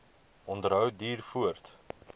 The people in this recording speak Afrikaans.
onderhou duur voort